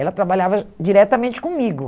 Ela trabalhava diretamente comigo.